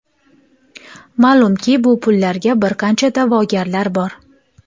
Ma’lumki, bu pullarga bir qancha da’vogarlar bor.